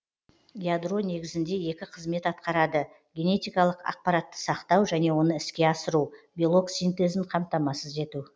ядро негізінде екі қызмет аткарады генетикалық ақпаратты сақтау және оны іске асыру белок синтезін қамтамасыз ету